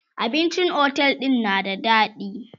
abincin otel ɗin na da daɗi